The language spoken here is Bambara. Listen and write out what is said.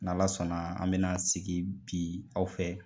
N' ala sɔnna an bɛna sigi bi aw fɛ